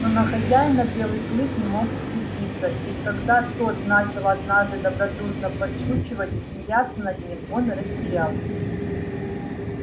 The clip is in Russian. но на хозяина белый клык не мог сердиться и когда тот начал однажды добродушно подшучивать и смеяться над ним он растерялся